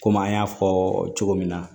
Komi an y'a fɔɔ cogo min na